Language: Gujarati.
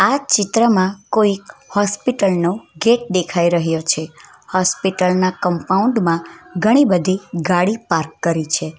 આ ચિત્રમાં કોઈક હોસ્પિટલ નો ગેટ દેખાઈ રહ્યો છે હોસ્પિટલ ના કમ્પાઉન્ડ માં ઘણી બધી ગાડી પાર્ક કરી છે.